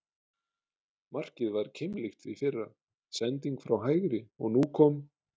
Markið var keimlíkt því fyrra, sending frá hægri og nú kom???